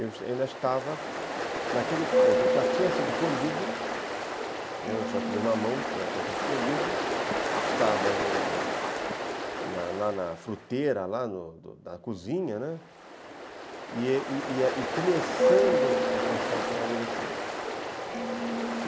eu ainda estava naquele ponto, eu já tinha sido colhido, eu sou aquele mamão que já tinha sido colhido, estava no na na fruteira, na cozinha, né, e começando o processo de amadurecimento.